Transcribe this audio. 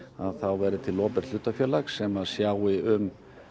verði til opinbert hlutafélag sem sjái um